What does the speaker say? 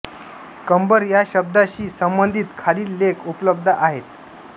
कंबर या शब्दाशी संबंधित खालील लेख उपलब्ध आहेत